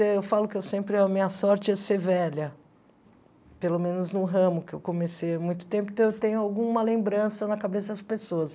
Eu falo que eu sempre a minha sorte é ser velha, pelo menos no ramo que eu comecei há muito tempo, então eu tenho alguma lembrança na cabeça das pessoas.